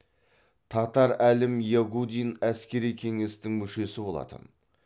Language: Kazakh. татар әлім ягудин әскери кеңестің мүшесі болатын